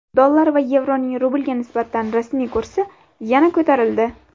Dollar va yevroning rublga nisbatan rasmiy kursi yana ko‘tarildi.